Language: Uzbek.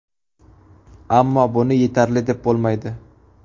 Ammo buni yetarli deb bo‘lmaydi.